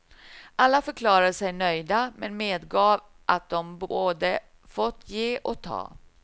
Alla förklarade sig nöjda, men medgav att de både fått ge och ta.